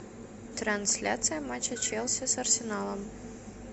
трансляция матча челси с арсеналом